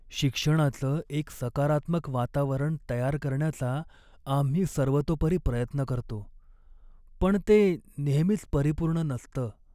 शिक्षणाचं एक सकारात्मक वातावरण तयार करण्याचा आम्ही सर्वतोपरी प्रयत्न करतो, पण ते नेहमीच परिपूर्ण नसतं.